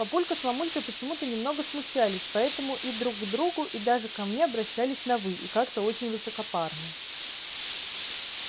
папулька с мамулькой почему-то немного смущались поэтому и друг к другу и даже ко мне обращались на вы и как-то очень высокопарно